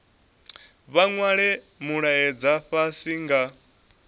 vha nwale mulaedza fhasi nga